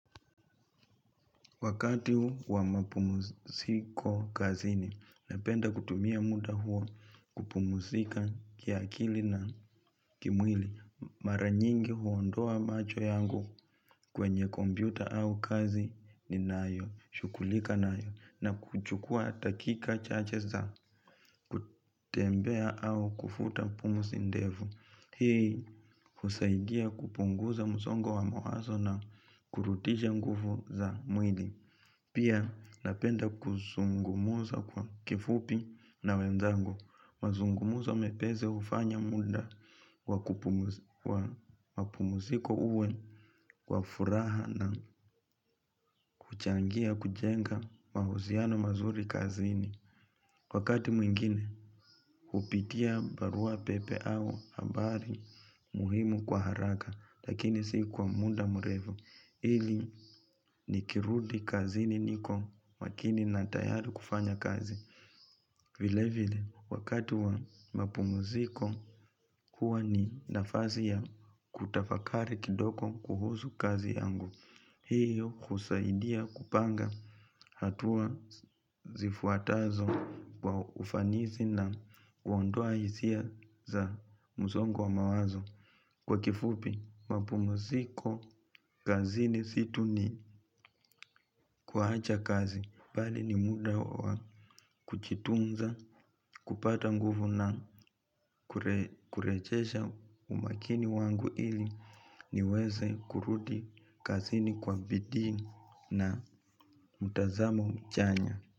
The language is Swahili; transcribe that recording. Wakati huu wa mapumsiko kazini, napenda kutumia muda huo kupumsika kiakili na kimwili. Maranyingi huondoa macho yangu kwenye kompyuta au kazi ni nayo shughulika nayo, na kuchukuwa dakika chache za kutembea au kufuta pumzi ndevu. Hii husaidia kupunguza msongo wa mawazo na kurudisha nguvu za mwili. Pia napenda kuzungumuza kwa kifupi na wenzangu, mazungumzo mepesi hufanya muda wa pumuziko uwe wa furaha na kuchangia kujenga mahusiano mazuri kazini. Wakati mwingine hupitia barua pepe au habari muhimu kwa haraka lakini si kwa muda mrefu ili nikirudi kazini niko makini na tayari kufanya kazi. Vile vile, wakati wa mapumuziko, huwa ni nafasi ya kutafakari kidogo kuhusu kazi yangu. Hiyo husaidia kupanga hatua zifuatazo kwa ufanisi na huondoa hisia za msongo wa mawazo. Kwa kifupi, mapumziko, kazini si tu ni kuacha kazi. Bali ni muda wa kujitunza, kupata nguvu na kurejesha umakini wangu ili niweze kurudi kazini kwa bidii na mtazamo uchanya.